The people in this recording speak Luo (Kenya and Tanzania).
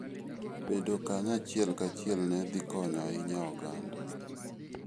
Bedo kanyo achiel kachiel ne dhi konyo ahinya oganda.